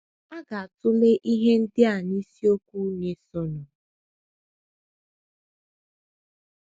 A ga - atụle ihe ndị a n’isiokwu na - esonụ..